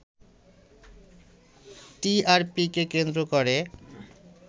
টিআরপিকে কেন্দ্র করে